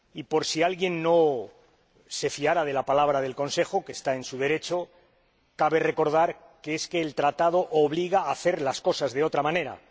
Por si alguien no se fiara de la palabra del Consejo ─está en su derecho─, cabe recordar que el Tratado obliga a hacer las cosas de otra manera.